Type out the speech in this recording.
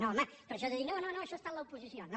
no home però això de dir no no això ha estat l’oposició no